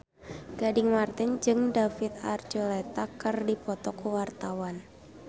Gading Marten jeung David Archuletta keur dipoto ku wartawan